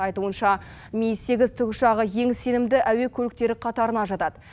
айтуынша ми сегіз тікұшағы ең сенімді әуе көліктері қатарына жатады